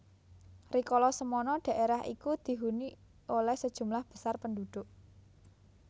Rikolo semono daerah iku dihuni oleh sejumlah besar penduduk